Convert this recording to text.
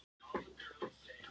góð olía